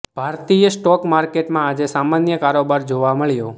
ભારતીય સ્ટોક માર્કેટમાં આજે સામાન્ય કારોબાર જોવા મળ્યો